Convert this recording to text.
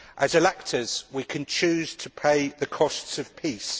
As electors, we can choose to pay the costs of peace.